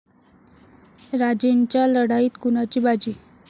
राजेंच्या लढाईत कुणाची बाजी?